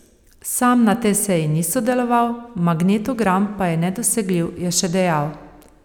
Sam na tej seji ni sodeloval, magnetogram pa je nedosegljiv, je še dejal.